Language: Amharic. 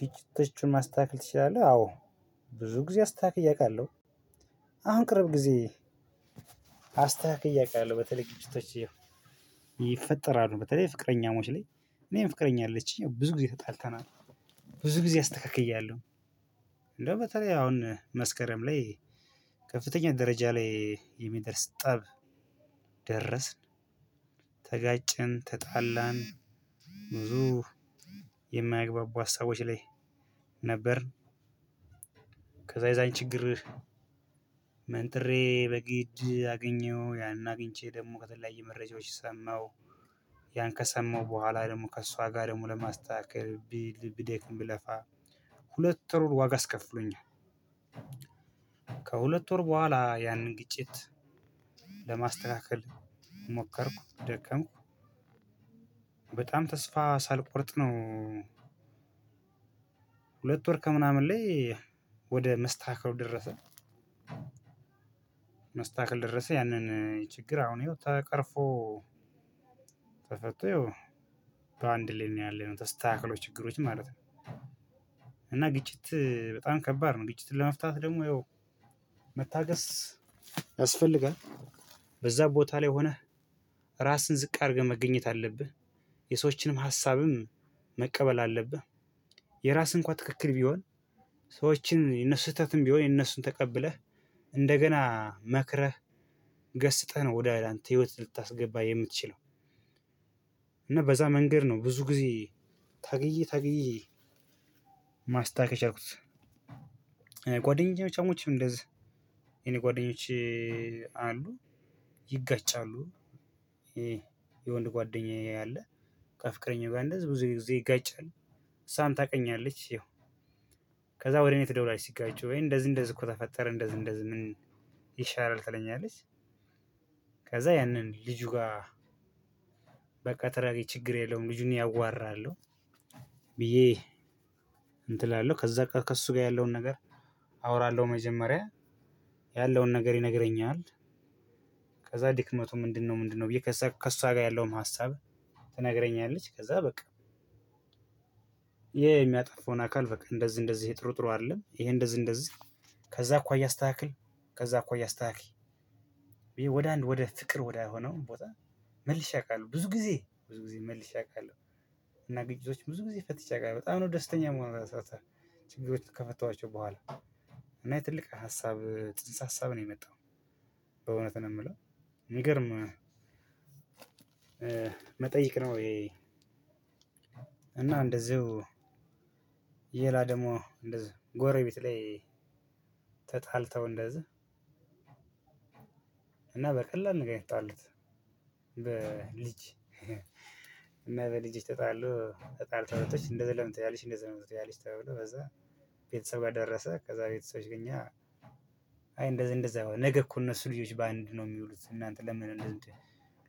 ግጭቶችን ማስተካከል ትችላለህ? አዎ ብዙ ጊዜ አስተካክዬ አውቃለሁ። አሁን ቅርብ ጊዜ። አስታካክዬ አውቃለሁ በተለይ ግጭቶች። ይፈጠራሉ በተለይ ፍቅረኛሞች ላይ እኔም ፍቅረኛ አለችኝ ብዙ ጊዜ ተጣልተናል። ብዙ ጊዜ አስተካክያለሁ። እንደውም በተለይ አሁን መስከረም ላይ ከፍተኛ ደረጃ ላይ የሚደርስ ጠብ። ደረስን ተጋጨን ተጣላን። ብዙ የማያግባቡ ሀሳቦች ላይ ነበርን። የዛን ችግር መንጥሬ በግድ አገኘሁ ያን አግኝቼ ደግሞ ከተለያየ መረጃዎች ሰማሁ። ያን ከሰማው በኋላ ደግሞ ከእሷ ጋር ደግሞ ለማስተካከል ብል ብደክም ብለፋ ሁለት ሩር ዋጋ አስከፍሎኛል። ከሁለት ወር በኋላ ያንን ግጭት ለማስተካከል ሞከርኩ ደከምኩ። በጣም ተስፋ ሳልቆርጥ ነው። ሁለት ወር ከምናምን ላይ ወደ መስተካከል ደረሰ። መስተካከል ደረሰ ያንን ችግር አሁን ተቀርፎ ተፈቶ በአንድ ሌላ ነው ያለው ተስተካክሎ ችግሮች ማለት ነው። እና ግጭት በጣም ከባድ ነው። ግጭትን ለመፍታት ደግሞ ያው መታገስ ያስፈልጋል። በዛ ቦታ ላይ ሆነህ ራስህን ዝቅ አድርገህ መገኘት አለብህ። የሰዎችንም ሀሳብም መቀበል አለብህ። የራስህ እንኳን ትክክል ቢሆን ሰዎችን የነሱ ስህተትም ቢሆን የነሱን ተቀብለህ እንደገና መክረህ ገስጠህ ነው ወደ አንተ ህይወት ልታስገባ የምትችለው። እና በዛ መንገድ ነው ብዙ ጊዜ ታግዬ ታግዬ ማስታገስ የቻልኩት። ጓደኞቼም እንደዛ የኔ ጓደኞቼ አሉ ይጋጫሉ። ይሄ የወንድ ጓደኛዬ አለ ከፍቅረኛው ጋር እንደዚህ ብዙ ጊዜ ይጋጫል። እሷም ታውቀኛለች ይኸው ከዛ ወደ እኔ ትደውላለች ሲጋጩ ወይ እንደዚህ እንደዚህ እኮ ተፈጠረ እንደዚህ እንደዚህ ምን ይሻላል ትለኛለች። ከዛ ያንን ልጁ ጋር በቃ ተረጋጊ ችግር የለውም ልጁን እኔ አዋራለሁ። ብዬ እንትን እላለው ከዛ በቃ ከእሱ ጋር ያለውን ነገር አወራለሁ መጀመሪያ ያለውን ነገር ይነግረኛል። ከዛ ድክመቱ ምንድነው? ምንድነው? ብዬ ከእሷ ጋር ያለውም ሀሳብ ትነግረኛለች። ከዛ በቃ ይሄ የሚያጠፋውን አካል በቃ እንደዚህ እንደዚህ ይሄ ጥሩ ጥሩ አይደለም። ይሄ እንደዚህ እንደዚህ ከዛ አኳያ አስተካክል ከዛ አኳያ አስተካክይ። ብዬ ወደ አንድ ወደ ፍቅር ወደ ሆነው ቦታ መልሼ አውቃለሁ ብዙ ጊዜ ብዙ ጊዜ መልሼ አውቃለሁ። እና ግጭቶች ብዙ ጊዜ ፈትቼ አውቃለሁ በጣም ነው ደስተኛ ምሆነው። ችግሮችን ከፈቷቸው በኋላ እና የትልቅ ሀሳብ ጽንሰ ሀሳብ ነው የመጣው። በእውነት ነው የምለው። ሚገርም መጠይቅ ነው ይሄ። እና እንደዚሁ የላ ደግሞ እንደዛ ጎረቤት ላይ ተጣልተው እንደዚህ እና በቀላል ነገር ነው የተጣሉት። በልጅ እና በልጅ ተጣሉ ተጣልተው እህቶች እንደዚህ ለምን ትያለሽ? እንደዚህ ለምን ትያለሽ? ተብሎ በዛ ቤተሰብ ጋር ደረሰ። ከዛ ቤተሰቦች ግኛ አይ እንደዚህ እንደዛ ነገር እኮ እነሱ ልጆች በአንድ ነው የሚውሉት እናንተ ለምን?